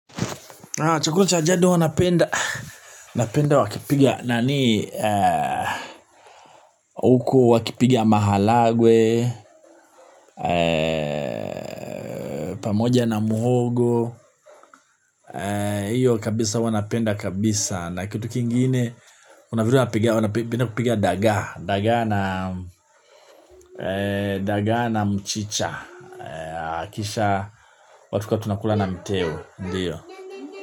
Chukula cha ajado wanapenda wakipiga na ni huku wakipiga mahalagwe, pamoja na muhogo, hiyo kabisa wanapenda kabisa na kitu kingine kunavitu wanapenda kupiga dagaa na mchicha, kisha watu kwa tunakula na mteo, ndiyo.